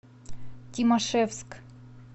тимашевск